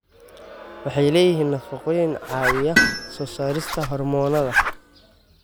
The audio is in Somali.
Waxay leeyihiin nafaqooyin caawiya soo saarista hormoonnada.